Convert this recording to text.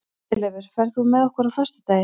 Friðleifur, ferð þú með okkur á föstudaginn?